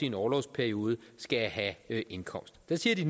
en orlovsperiode skal have en indkomst der siger de